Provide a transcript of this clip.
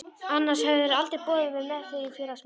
Annars hefðirðu aldrei boðið mér með þér í félagsmiðstöðina.